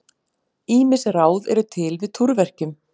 Ýmis ráð eru til við túrverkjum.